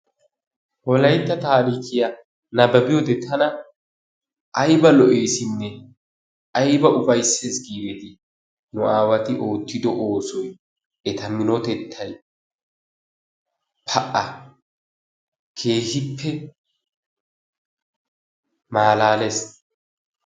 wolayttaa taarikkiya nababbiyoode tana aybba lo''essinne aybba ufaysses giideti! nu aawati oottido oosoy eta minotettay, pa'a! keehippe malaalees.